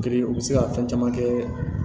u bɛ se ka fɛn caman kɛ